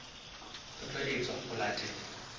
ho tla etswa ho latela